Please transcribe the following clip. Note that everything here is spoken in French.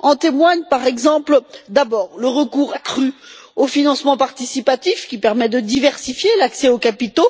En témoignent par exemple le recours accru au financement participatif, qui permet de diversifier l'accès aux capitaux,